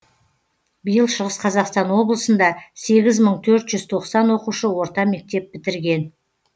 биыл шығыс қазақстан облысында сегіз мың төрт жүз тоқсан оқушы орта мектеп бітірген